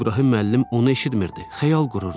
İbrahim müəllim onu eşitmirdi, xəyal qururdu.